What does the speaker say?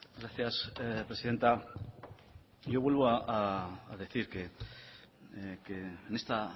gracias presidenta yo vuelvo a decir que en esta